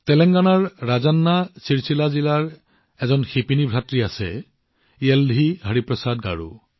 তেলেংগানাৰ ৰাজান্না চিৰচিলা জিলাত এগৰাকী শিপিনী ভাতৃ আছে য়েলধিহৰিপ্ৰসাদ গাৰু